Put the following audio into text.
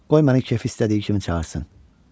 Qoy mənim kefim istədiyi kimi çağırsın.